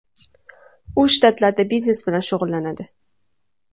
U shtatlarda biznes bilan shug‘ullanadi.